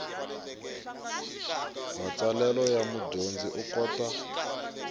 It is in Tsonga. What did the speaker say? matsalelo ya mudyondzi u kota